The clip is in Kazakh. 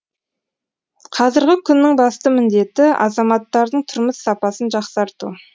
қазіргі күннің басты міндеті азаматтардың тұрмыс сапасын жақсарту